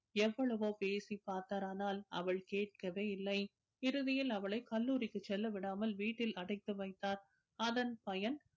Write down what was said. எவ்வளவோ பேசிப் பார்த்தரானால் அவள் கேட்கவே இல்லை இறுதியில் அவளை கல்லூரிக்கு செல்லவிடாமல் வீட்டில் அடைத்து வைத்தார் அதன் பயன்